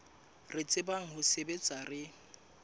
re tsebang ho sebetsa re